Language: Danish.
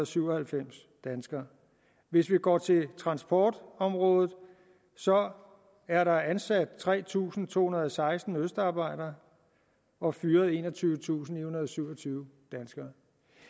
syv og halvfems danskere hvis vi går til transportområdet så er der ansat tre tusind to hundrede og seksten østarbejdere og fyret enogtyvetusinde og syvogtyve danskere